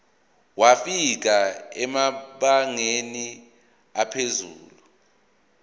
wafika emabangeni aphezulu